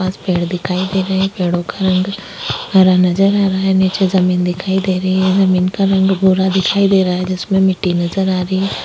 पास पेड़ दिखाई दे रहे है पेड़ो का रंग हरा नजर आ रहा है नीचे जमीन दिखाई दे रही है जमीन का रंग भूरा दिखाई दे रहा है जिसमें मिट्टी नज़र आ रहीं है।